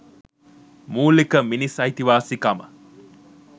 මුලික මිනිස් අයිතිවාසිකම